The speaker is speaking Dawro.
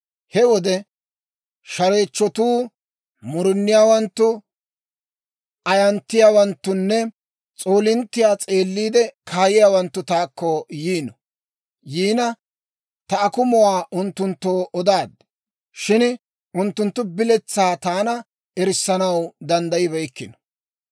He wode shareechchotuu, muruniyaawanttu, ayanttiyaawanttunne s'oolinttiyaa s'eeliide kaayiyaawanttu taakko yiina, ta akumuwaa unttunttoo odaad; shin unttunttu biletsaa taana erissanaw danddayibeykkino.